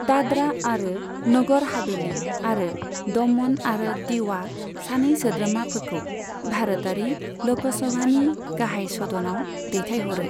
दाद्रा आरो नगर हाभेलि आरो दमन आरो दिउआ सानै सोद्रोमाफोरखौ भारतारि ल'क सभानि गाहाइ सदनाव दैथायहरो।